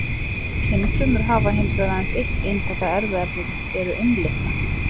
Kynfrumur hafa hins vegar aðeins eitt eintak af erfðaefninu, eru einlitna.